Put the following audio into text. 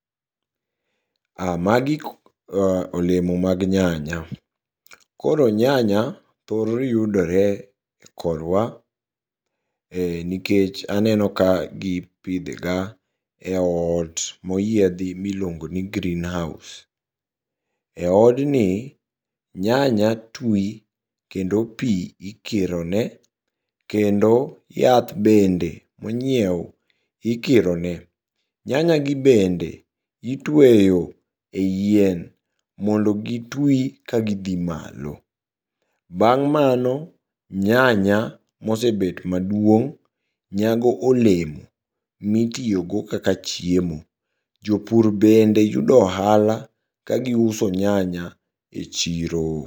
Ah magi olemo mag nyanya. Koro nyanya thor yudore korwa e nikech aneno ka gipidhega e ot moyiethi miluogoni green house. E odni, nyanya twi kendo pii ikirone, kendo yath bende inyieu ikirone. Nyanyagi bende itweyo ei yien mondo gitwi magidhi malo. Bang' mano nyanya mosebet maduong' nyago olemo mitiyogo kaka chiemo. Jopur bende yudo ohala kagiuso nyanya e chiro.